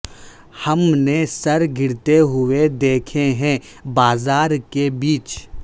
ہم نے سر گرتے ہوئے دیکھے ہیں بازار کے بیچ